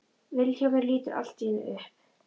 Vilhjálmur lítur allt í einu upp.